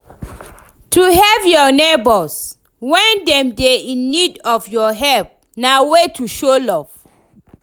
To help your neighbors when dem de in need of your help na way to show love